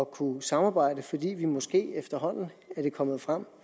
kunne samarbejde fordi vi måske efterhånden er det kommet frem